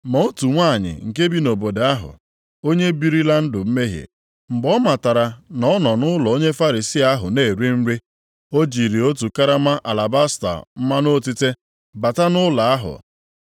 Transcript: Ma otu nwanyị nke bi nʼobodo ahụ, onye birila ndụ mmehie, mgbe ọ matara na ọ nọ nʼụlọ onye Farisii ahụ na-eri nri, o jiri otu karama alabasta mmanụ otite bata nʼụlọ ahụ.